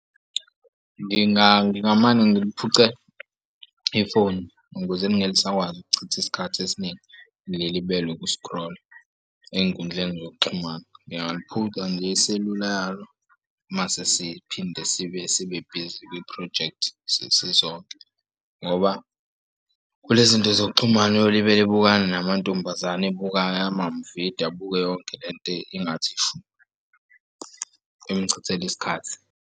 Ngingamane ngiliphuce ifoni ukuze elingelisakwazi ukuchitha isikhathi esiningi lelibele ukuskrola ey'nkundleni zokuxhumana. Ngingaliphuca nje iselula yalo mase siphinde sibe bhizi kwiphrojekthi sesisonke ngoba kulezi zinto zokuxhumana uyolibele ebukana namantombazane ebukekayo amavidiyo abuke yonke le nto ingathi shu emuchithela isikhathi.